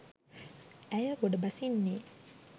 ඇය ගොඩ බසින්නේ